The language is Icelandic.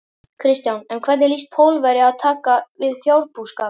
Kristján: En hvernig lýst Pólverja að taka við fjárbúskap?